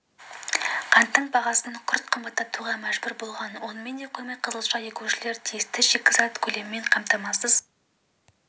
қанттың бағасын күрт қымбаттатуға мәжбүр болған онымен де қоймай қызылша егушілер тиісті шикізат көлемімен қамтамасыз